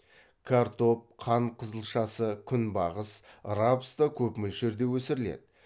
картоп қант қызылшасы күнбағыс рапс та көп мөлшерде өсіріледі